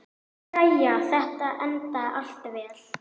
Jæja, þetta endaði allt vel.